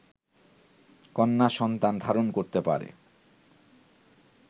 কন্যা-সন্তান ধারণ করতে পারে